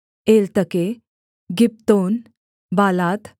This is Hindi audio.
Eltekeh Gibbethon Baalath